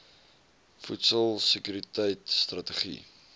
voedsel sekuriteit strategie